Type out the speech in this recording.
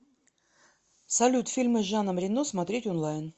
салют фильмы с жаном рено смотреть онлайн